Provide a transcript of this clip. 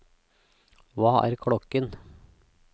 hva er klokken